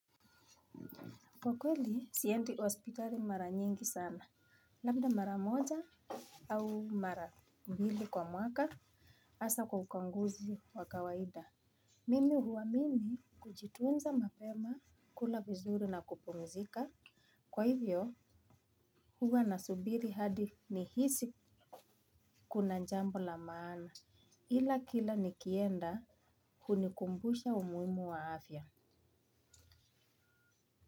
Kwa kweli, siendi hospitali mara nyingi sana, labda mara moja au mara mbili kwa mwaka, hasa kwa ukaguzi wa kawaida mimi huamini kujitunza mapema kula vizuri na kupumzika. Kwa hivyo, huwa nasubiri hadi nihisi kuna jambo la maana. Ila kila nikienda hunikumbusha umuhimu wa afya.